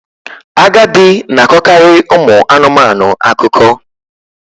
Agadi na-akọkarị ụmụ anụmanụ akụkọ